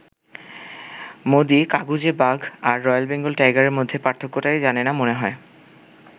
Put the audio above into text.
মোদি ‘কাগুজে বাঘ’ আর রয়েল বেঙ্গল টাইগারের মধ্যে পার্থক্যটাই জানে না মনে হয়।